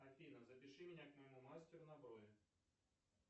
афина запиши меня к моему мастеру на брови